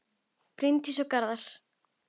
Bryndís og Garðar.